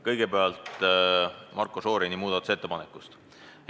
Kõigepealt Marko Šorini muudatusettepanekust.